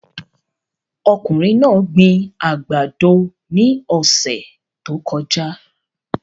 Ọkùnrin náà gbin àgbàdo ní ọ̀sẹ̀ tó kọjá